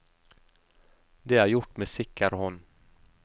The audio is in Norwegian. Det er gjort med sikker hånd.